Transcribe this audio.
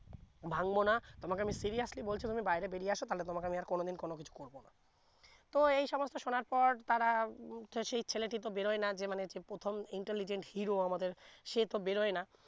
ভেঙ্গবো না তোমাকে আমি seriously বলছি বাহিরে বেরিয়ে আসো তা হলে তোমাকে কোনো দিন কিছু করবো না তো এই সমস্থ শোনার পর তারা সেই ছেলেটি তো বেরোয় না যে মানে প্রথম intelligent hero আমাদের সে তো বেরোয় না